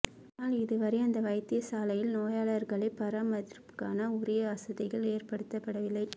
ஆனால் இதுவரை அந்த வைத்தியசாலையில் நோயாளர்களை பராமரிப்பதற்கான உரிய வசதிகள் ஏற்படுத்தப்படவில்லை